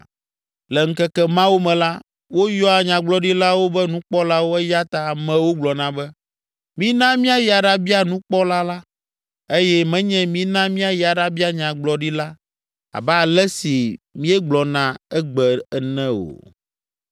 Le ŋkeke mawo me la, woyɔa nyagblɔɖilawo be nukpɔlawo eya ta amewo gblɔna, be “Mina míayi aɖabia nukpɔla la” eye menye “Mina míayi aɖabia nyagblɔɖila la” abe ale si míegblɔna egbe ene o.